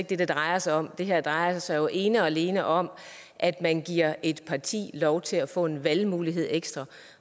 det det drejer sig om det her drejer sig ene og alene om at man giver et parti lov til at få en valgmulighed ekstra